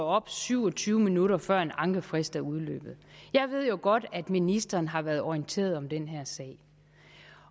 op syv og tyve minutter før en ankefrist er udløbet jeg ved jo godt at ministeren har været orienteret om den her sag